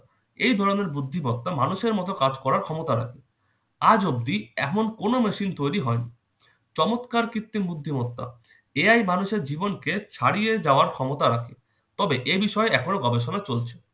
এই ধরনের বুদ্ধিমত্তা মানুষের মতো কাজ করার ক্ষমতা রাখে। আজঅব্দি এমন কোন machine তৈরি হয়নি।। চমৎকার কৃত্রিম বুদ্ধিমত্তা AI মানুষের জীবনকে ছাড়িয়ে যাওয়ার ক্ষমতা রাখে। তবে এ বিষয়ে এখনও গবেষণা চলছে।